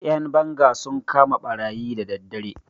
Ƴan banga sun kama ɓarayi da daddare.